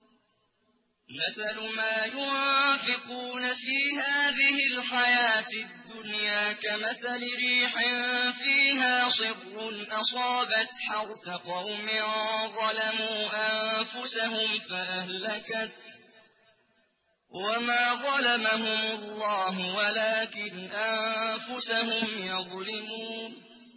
مَثَلُ مَا يُنفِقُونَ فِي هَٰذِهِ الْحَيَاةِ الدُّنْيَا كَمَثَلِ رِيحٍ فِيهَا صِرٌّ أَصَابَتْ حَرْثَ قَوْمٍ ظَلَمُوا أَنفُسَهُمْ فَأَهْلَكَتْهُ ۚ وَمَا ظَلَمَهُمُ اللَّهُ وَلَٰكِنْ أَنفُسَهُمْ يَظْلِمُونَ